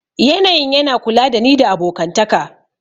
Yanayin yana kula da ni da abokantaka